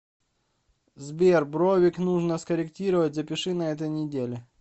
сбер бровик нужно скорректировать запиши на этой неделе